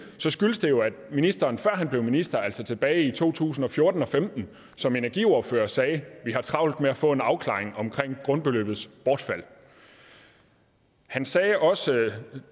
så skyldes det jo at ministeren før han blev minister altså tilbage i to tusind og fjorten og femten som energiordfører sagde vi har travlt med at få en afklaring omkring grundbeløbets bortfald han sagde også